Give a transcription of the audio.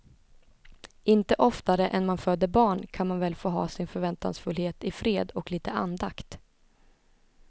Inte oftare än man föder barn kan man väl få ha sin förväntansfullhet i fred och lite andakt.